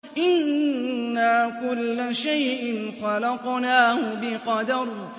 إِنَّا كُلَّ شَيْءٍ خَلَقْنَاهُ بِقَدَرٍ